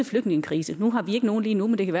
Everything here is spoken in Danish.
flygtningekrise nu har vi ikke nogen lige nu men det kan